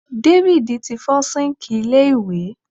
David ti fo sink ilé iwe